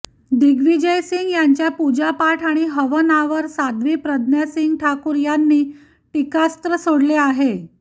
दिग्विजय सिंग यांच्या पूजापाठ आणि हवनावर साध्वी प्रज्ञासिंग ठाकूर यांनी टीकास्त्र सोडले आहे